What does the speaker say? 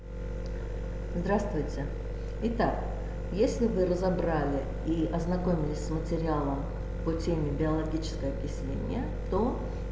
здравствуйте и так если вы разобрали и ознакомились с материалом по теме биологическое окисление то